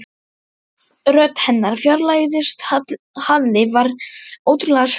Rödd hennar fjarlægðist, Halli varð ótrúlega sljór.